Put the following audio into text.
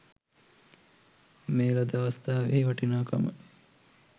මේ ලද අවස්ථාවෙහි වටිනාකම